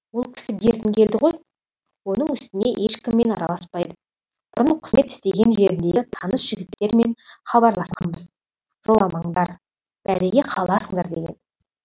ол кісі бертін келді ғой оның үстіне ешкіммен араласпайды бұрын қызмет істеген жеріндегі таныс жігіттермен хабарласқанбыз жоламаңдар бәлеге қаласыңдар деген